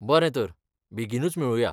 बरें तर, बेगीनूच मेळुया.